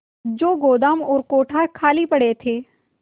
जो गोदाम और कोठार खाली पड़े थे